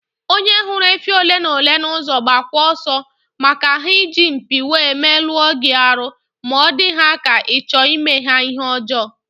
Onye hụrụ efi ole ma ole na ụzọ gbabakwa ọsọ, maka ha iji mpi wee meluo gị arụ ma ọ dị ha ka ịchọ ime ha ihe ọjọọ